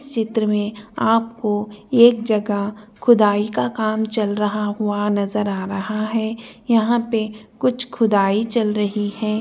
चित्र में आपको एक जगह खुदाई का काम चल रहा हुआ नजर आ रहा है यहाँ पे कुछ खुदाई चल रही है।